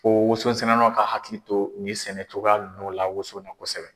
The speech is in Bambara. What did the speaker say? Ko wososɛnɛlaw ka hakili to nin sɛnɛcogoya ninnu la woso la kosɛbɛ.